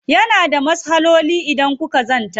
Yana da maslahohin idan kuka zanta.